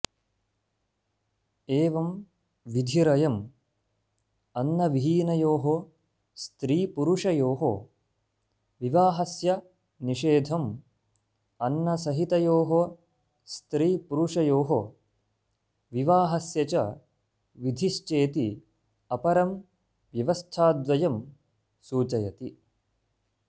एवम् विधिरयम् अन्नविहीनयोः स्त्रीपुरुषयोः विवाहस्य निषेधम् अन्नसहितयोः स्त्रीपुरुषयोः विवाहस्य च विधिश्चेति अपरम् व्यवस्थाद्वयम् सूचयति